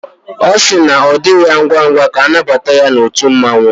Ọ si na ọ dị ya ngwa ngwa ka anabata ya otú mmanwu